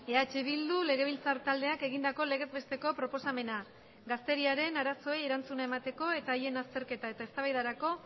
eh bildu legebiltzar taldeak egindako legez besteko proposamena gazteriaren arazoei erantzuna emateko eta haien azterketa eta eztabaidarako